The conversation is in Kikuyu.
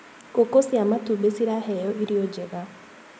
Ngũkũ cia matumbi ciraheo irio njega.